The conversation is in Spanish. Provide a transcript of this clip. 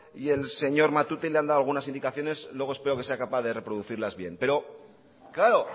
y el señor matute y le han dado algunas indicaciones luego espero que sea capaz de reproducirlas bien pero claro